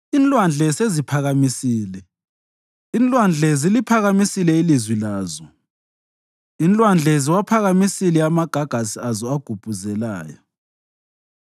Inlwandle seziphakamisile, Oh Thixo, inlwandle ziliphakamisile ilizwi lazo; inlwandle ziwaphakamisile amagagasi azo agubhuzelayo.